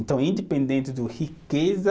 Então, independente de riqueza